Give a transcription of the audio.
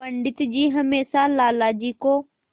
पंडित जी हमेशा लाला जी को